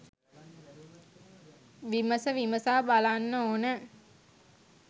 විමස විමසා බලන්න ඕන.